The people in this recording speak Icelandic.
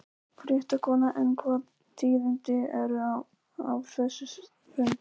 Fréttakona: En hvaða tíðindi eru af þessum fundi?